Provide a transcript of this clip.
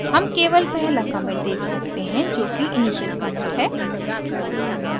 हम केवल पहला commit देख सकते हैं जोकि initial commit है